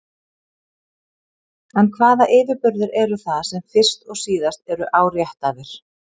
En hvaða yfirburðir eru það sem fyrst og síðast eru áréttaðir?